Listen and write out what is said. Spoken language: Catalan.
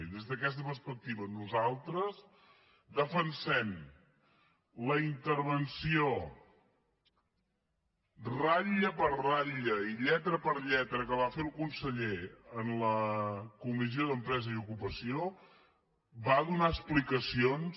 i des d’aquesta perspectiva nosaltres defensem la intervenció ratlla per ratlla i lletra per lletra que va fer el conseller en la comissió d’empresa i ocupació va donar explicacions